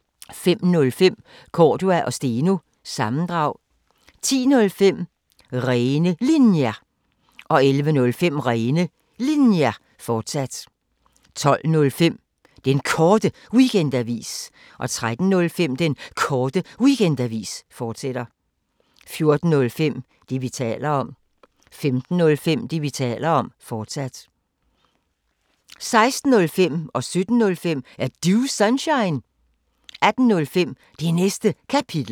05:05: Cordua & Steno – sammendrag 10:05: Rene Linjer 11:05: Rene Linjer, fortsat 12:05: Den Korte Weekendavis 13:05: Den Korte Weekendavis, fortsat 14:05: Det, vi taler om 15:05: Det, vi taler om, fortsat 16:05: Er Du Sunshine? 17:05: Er Du Sunshine? 18:05: Det Næste Kapitel